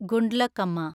Gundlakamma